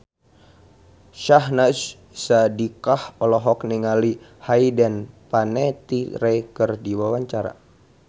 Syahnaz Sadiqah olohok ningali Hayden Panettiere keur diwawancara